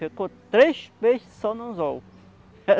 Ficou três peixes só no anzol.